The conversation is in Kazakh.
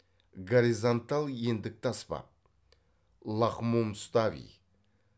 горизонтал ендікті аспап лахмомустави